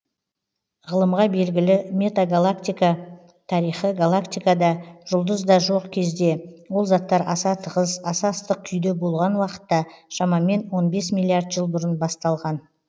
ғылымға белгілі метагалактика тарихы галактика да жұлдыз да жоқ кезде ол заттар аса тығыз аса ыстық күйде болған уақытта шамамен он бес миллиард жыл бұрын басталған